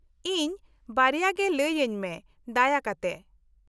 -ᱤᱧ ᱵᱟᱨᱭᱟ ᱜᱮ ᱞᱟᱹᱭ ᱟᱹᱧ ᱢᱮ, ᱫᱟᱭᱟ ᱠᱟᱛᱮ ᱾